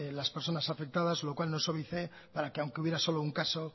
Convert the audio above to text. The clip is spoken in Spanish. las personas afectadas lo cual no suavice para que aunque hubiera solo un caso